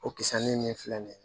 O kisani nin filɛ nin ye